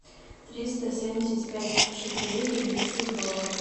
триста семьдесят пять шекелей перевести в доллары